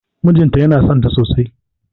Mijinta yana sonta sosai